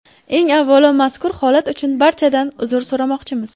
Eng avvalo mazkur holat uchun barchadan uzr so‘ramoqchimiz.